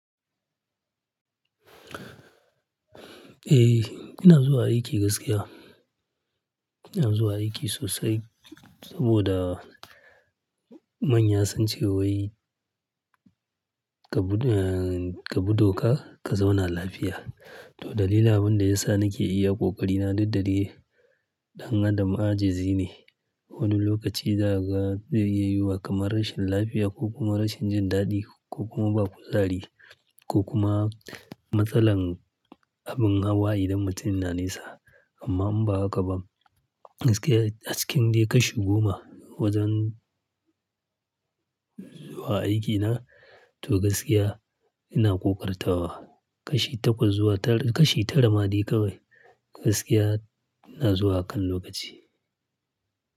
Eh, ina zuwa aiki gaskiya. Ina zuwa aiki sosai saboda manya sun ce wai ka bi, ka bi doka ka zauna lafiya. To dalilin abin da ya sa nake iya ƙoƙari na duk dai, ɗan adam ajizi ne. Wani lokaci za ka, zai iya yuwa kamar rashin lafiya ko kuma rashin jin daɗi ko kuma ba kuzari ko kuma matsalar abin hawa idan mutum na nesa. Amma in ba haka ba, gaskiya a cikin dai kashi goma wajen zuwa aikina, to gaskiya ina ƙoƙartawa. Kashi takwas zuwa tara, kashi tara ma dai kawai gaskiya ina zuwa a kan lokaci.